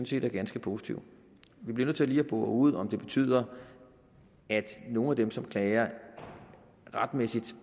set er ganske positive vi bliver nødt til lige at bore ud om det betyder at nogle af dem som klager retmæssigt